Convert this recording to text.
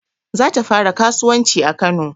Za ta fara kasuwanci a kano